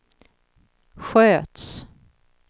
sköts